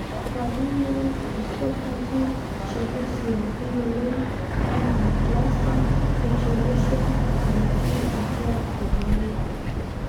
Familial esophageal achalasia keyioloi ana cluster e achalasia natii atua omarei.